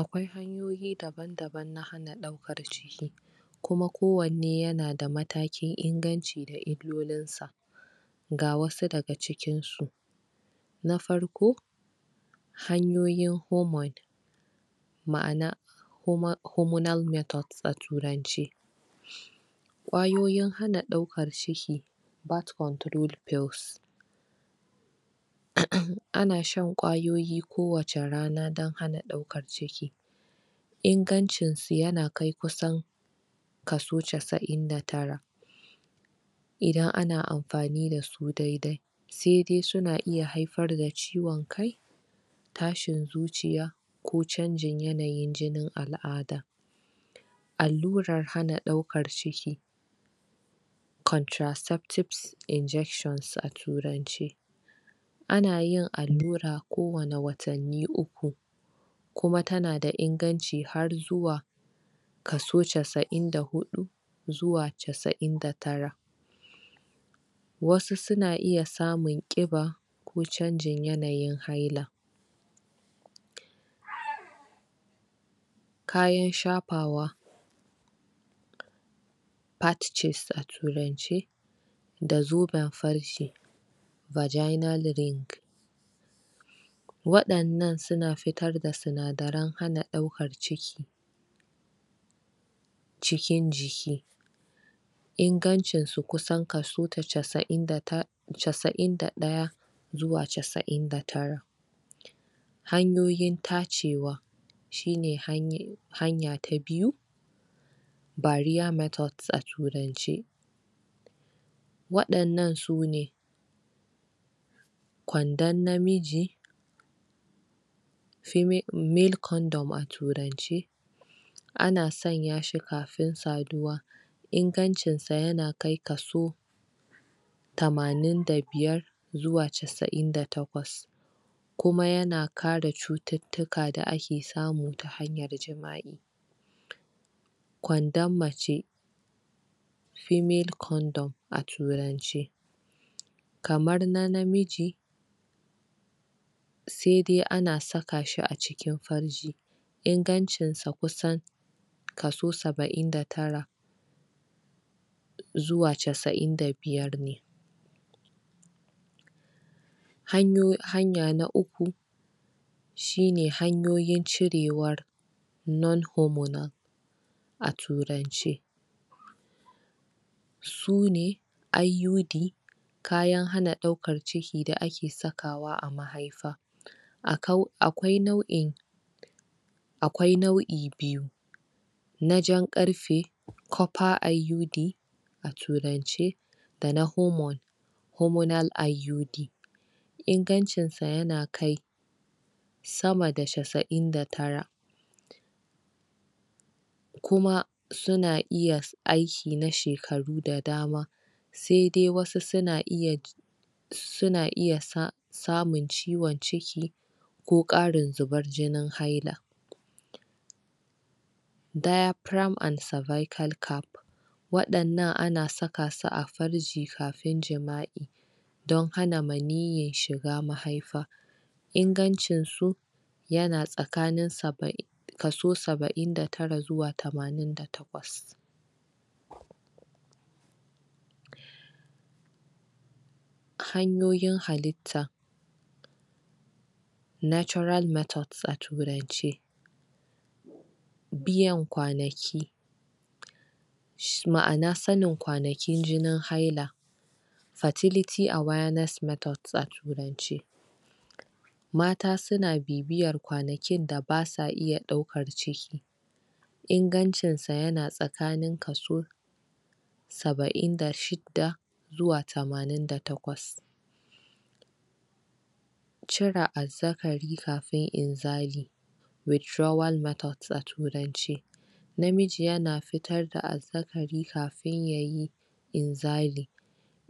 Akwai hanyoyi daban-daban na ɗaukar ciki kuma kwanne ya na da matakin inganci da illolin sa. Ga wasu daga cikin su; Na farko hanyoyin homoi ma'ana huma, humanoid method a turance. Ƙwayoyin hana ɗaukar cikin, birth control pill. Ana shan ƙwayoyi kowace rana don hana ɗaukar ciki. Ingancin su ya na kai kusan kaso casa'in da tara. Idan ana amfani da su dai-dai. Sai dai su na iya haifar da ciwon kai, tashin zuciya, ko canjin yanayin jinin al'ada. Allurar hana ɗaukar ciki, contaceptive injection a turance. Ana yin allura kowane watanni uku. Kuma ta na da inganci har zuwa kaso casa'in da huɗu zuwa casa'in da tara. Wasu su na iya samun ƙiba, ko canjin yanayin haila. Kayan shafawa, patches a turance. Da zobe farji vaginal ring waɗannan su na fitar da sinadaran hana ɗaukar ciki cikin jiki. Ingancin su kusan kaso casa'in da ta, casa'in da ɗaya zuwa casa'in da tara. Hanyoyin tacewa shi ne hanya ta biyu barrier mrthod a turance. Waɗannan su ne kwandon namiji feme, male condom a turance, ana sanya shi kafin saduwa. Ingancin sa ya na kai kaso tamanin da biyar zuwa casa'in da takwas. Kuma ya na kare cututtuka da ake samu ta hanyar jima'i. Kwandon mace female condom a turance. Kamara na namiji, sai dai ana saka shi a cikin farji. Inagancin sa kusan kaso saba'in da tara zuwa casa'in da biyar ne. Hanyo, hanya na uku shi ne hanyoyin cirewar non humanoid a turance. Su ne IUD kayan hana ɗaukar cikin da ake sakawa a mahaifa. Akau, akwai nau'in akwai nau'i biyu na jan ƙarfe, copper IUD, a turance, da na humanoid humonal IUD. Ingancin sa ya na kai sama da casa'in da tara. Kuma su na iya aiki na shekaru da dama. Sai dai wasu su na iya su na iya sa, samun ciwon ciki ko ƙarin zubar jinin haila. Diaphragm and suvical cap, waɗannan ana saka su a farji kafin jima'i don hana maniyi shiga mahaifa. Inagancin su ya na sakanin saba'in kaso saba'in da tara zuwa tamanin da takwas. Hanyoyin halitta natural methods a turance. Biyan kwanaki shi ma'ana sanin kwanakin jini haila. Fertility awareness method a turance. Mata su na bibiyar kwanakin da ba sa iya daukar ciki. Ingancin sa ya na tsakanin kaso saba'in da shidda, zuwa tamanin da takwas. Cire azzakari kafin inzali. Withdrawal method a turance. Namiji ya na fita da azzakari kafin yayi inzali.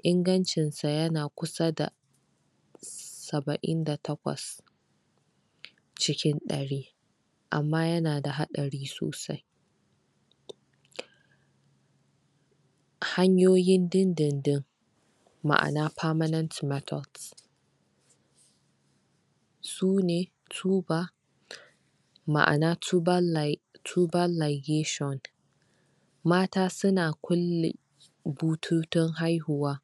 Inagancin sa ya na kusa da saba'in da takwas cikin ɗari. Amma ya na da hadari sosai. Hanyoyin din-din-din, ma'ana permanent method. Sune ma'ana tubal li, tubal ligation. Mata su na kulle bututun haihuwa.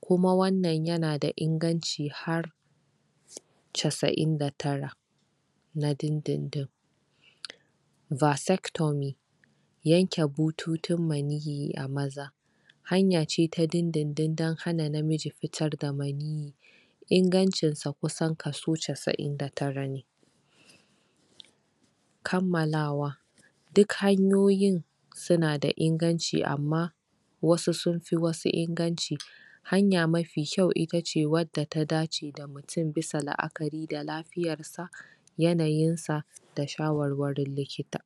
Kuma wannan ya na da inganci har casa'in da tara. Na din-din-din. Vasectomee yanke bututun maniyi a maza. Hanya ce ta din-din-din don hana namiji fitar da maniyi. Ingancin sa kusan kaso casa'in da tara ne. Kammalawa duk hanyoyin su na da inganci amma wasu sun fi wasu inganci. Hanya mafi kyau ita ce wadda ta dace da mutum bisa la'akari da lafiya, yanayin sa, da shawar-warin likita.